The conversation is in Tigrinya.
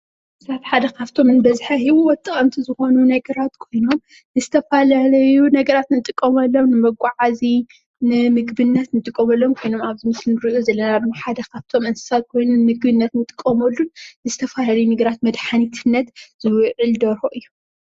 ሓደ ካብቶም ብበዝሒ ንሂወት ጠቀምቲ ዝኮኑ ነገራት ኮይኖም ንዝተፈላለዩ ነገራት ንጥቀመሎም ንመገዓዚ ንምግብነት ንጥቀመሎም ኾይኖም ኣብዚ እንሪኦ ዘለና ድማ ሓደ ካብቶም እንስሳ ኮይኑ ንምግብነት እንጥቀመሎም ንዝተፈላለዩ ነገራት መድሓኒትነት ዝውዕል ደርሆ እዩ፡፡